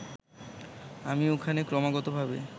আমি ওখানে ক্রমাগতভাবে